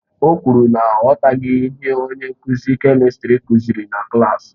O kwuru na ọ aghọtaghị ihe onye nkuzi kèmistrị kuziri na klaasị.